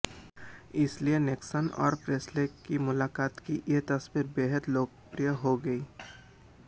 इसीलिए निक्सन और प्रेस्ले की मुलाक़ात की ये तस्वीर बेहद लोकप्रिय हो गई